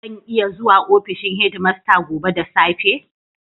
Zan iya zuwa ofishin headmaster gobe da safe?